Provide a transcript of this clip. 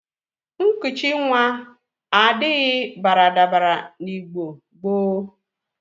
Nkụchị nwa adaghi baradabara n'Igbo gboo.